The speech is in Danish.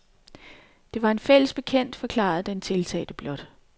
Det var en fælles bekendt, forklarede den tiltalte blot.